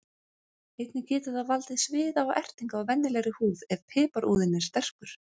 Einnig getur það valdið sviða og ertingu á venjulegri húð ef piparúðinn er sterkur.